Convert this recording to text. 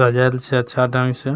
सजाल छै अच्छा ढंग से।